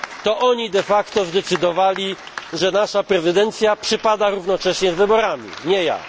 To oni de facto zadecydowali, że nasza prezydencja wypada jednocześnie z wyborami, a nie